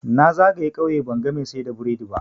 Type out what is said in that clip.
Na zagaye ƙauye banga mai siyar da burodi ba.